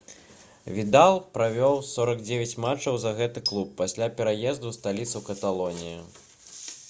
відал правёў 49 матчаў за гэты клуб пасля пераезду ў сталіцу каталоніі